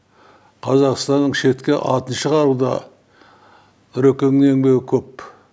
қазақстанның шетке атын шығаруда нұрекеңнің еңбегі көп